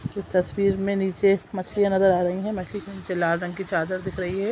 इस तस्वीर में नीचे मछलियां नजर आ रही है मछलि के नीचे लाल रंग की चादर दिख रही है।